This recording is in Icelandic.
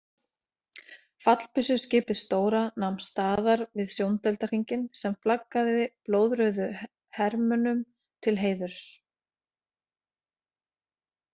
Fallbyssuskipið stóra nam staðar við sjóndeildarhringinn sem flaggaði blóðrauðu hermönnum til heiðurs.